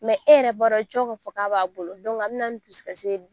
e yɛrɛ b'a dɔn cɔ k'a fɔ k'a b'a bolo a bɛ na ni dusukasi ye